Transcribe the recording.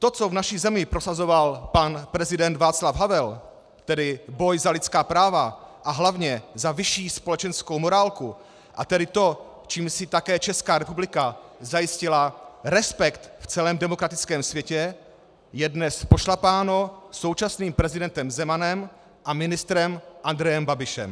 To, co v naší zemi prosazoval pan prezident Václav Havel, tedy boj za lidská práva a hlavně za vyšší společenskou morálku, a tedy to, čím si také Česká republika zajistila respekt v celém demokratickém světě, je dnes pošlapáno současným prezidentem Zemanem a ministrem Andrejem Babišem.